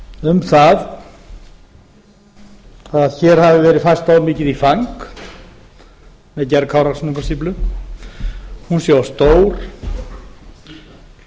um að hér hafi verið færst of mikið í fang við gerð kárahnjúkastíflu stíflan sé of